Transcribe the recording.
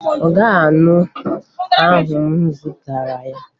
Ọ ga-aṅụ ahụ m zụtara ya